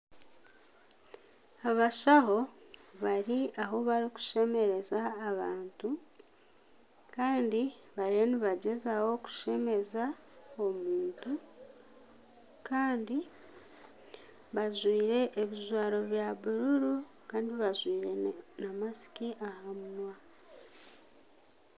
Abashaho bari ahu barikushemereza abantu Kandi bariyo nibagyezaho kushemeza omuntu Kandi bajwire ebijwaro bya bururu Kandi bajwire na masiki aha munwa.